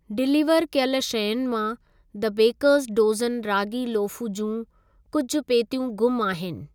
Deliver कयल शयुनि मां 'द बेकरस डोज़न रागी लोफ़ु जियुं कुझि पेतियूं ग़ुम आहिनि।